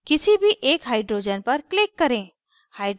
किसी भी एक hydrogens पर click करें